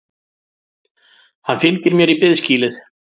Hann fylgir mér í biðskýlið.